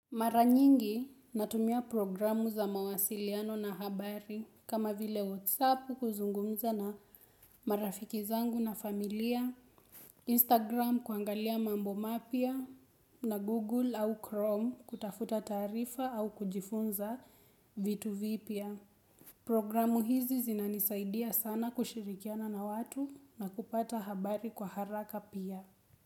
Mara nyingi natumia programu za mawasiliano na habari kama vile whatsapp kuzungumza na marafiki zangu na familia, instagram kuangalia mambo mapya na google au chrome kutafuta taarifa au kujifunza vitu vipya. Programu hizi zinanisaidia sana kushirikiana na watu na kupata habari kwa haraka pia.